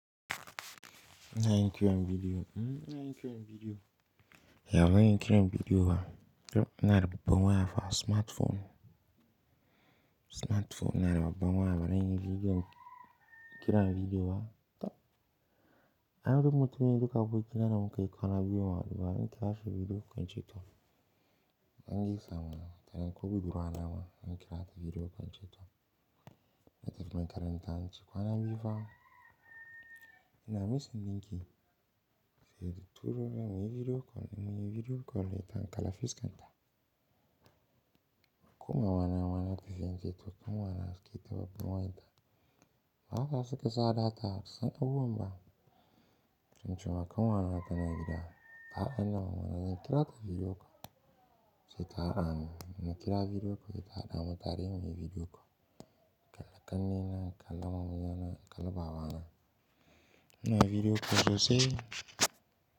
Ina yin kiran video ya baran yi kiran bidiyo ba. To, inada babban waya fa, smartphone. Smartphone inada babban waya baran yi bidiyo, kiran bidiyo ba. To kaga mutumi duka abokina da mukayi kwana biyu bamu hadu ba zan kira shi bidiyo call in ce to mu dan gaisa mana ko budurwa na ma zan kira ta bidiyo call in ce to na tafi makaranta, zan ce kwana biyu fa. Ina missing dinki. Sai da turumin muyi bidiyo kol, muyi bidiyo kol, ita an kala fiska ta. Ko mamana ma na ta fi in ce to, kuma wannan suka yi ta babban waya ta. Haka suka sa data, ba su san abubuwan ba. Tun jimakan kwana na tana gida. A'a, hanya mamana kira ta bidiyo call. Sai ta hadani. Na kira bidiyo call sai ta hada mu tare muyi muyi bidiyo call. Kalla kanni na, kalla maman na, kalla babana. Ina bidiyo call sosai.